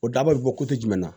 O dabali bɛ bɔ jumɛn na